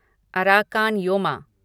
Arakan Yoma